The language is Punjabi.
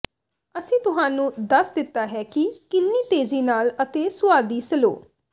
ਅਸੀਂ ਤੁਹਾਨੂੰ ਦੱਸ ਦਿੱਤਾ ਹੈ ਕਿ ਕਿੰਨੀ ਤੇਜ਼ੀ ਨਾਲ ਅਤੇ ਸੁਆਦੀ ਸਲੋ